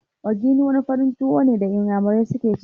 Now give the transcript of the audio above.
Ogidi' wani farin tuwo ne da inyamurai suke ci